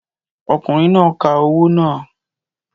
Ọkùnrin náà ka owó náà